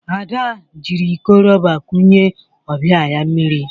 Ada jiri ikọ rọba kunye ọbịa ya mmiri